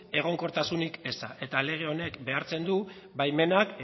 egonkortasun ezak eta lege honek behartzen du baimenak